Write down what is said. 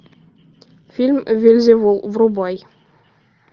фильм вельзевул врубай